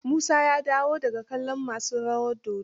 Musa ya dawo da ga kallon masu rawar dodon?